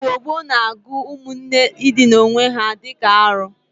Igbo gboo na-agụ ụmụnne ịdịna owe ha di ka arọ.